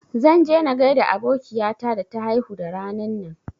Zan je na gaida abokiya ta da ta haihu da ranan nan